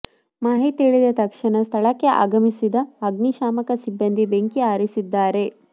ಮಾಹಿತಿ ತಿಳಿದ ತಕ್ಷಣ ಸ್ಥಳಕ್ಕೆ ಆಗಮಿಸಿದ ಅಗ್ನಿಶಾಮಕ ಸಿಬ್ಬಂದಿ ಬೆಂಕಿ ಆರಿಸಿದ್ದಾರೆ